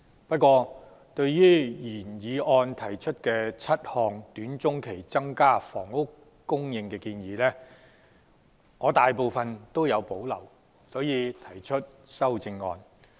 不過，對於原議案提出7項短、中期增加房屋供應的建議，我大部分也有保留，因此提出修正案。